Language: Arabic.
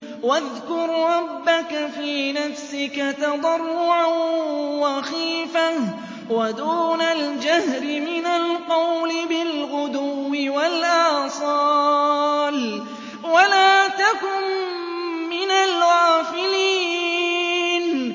وَاذْكُر رَّبَّكَ فِي نَفْسِكَ تَضَرُّعًا وَخِيفَةً وَدُونَ الْجَهْرِ مِنَ الْقَوْلِ بِالْغُدُوِّ وَالْآصَالِ وَلَا تَكُن مِّنَ الْغَافِلِينَ